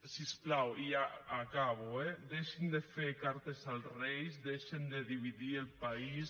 si us plau i ja acabo eh deixin de fer cartes als reis deixin de dividir el país